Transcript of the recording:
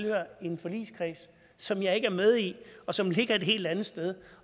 i en forligskreds som jeg ikke med i og som ligger et helt andet sted